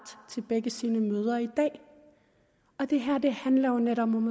til begge sine mødre i dag og det her handler jo netop om